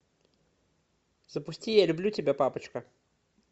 запусти я люблю тебя папочка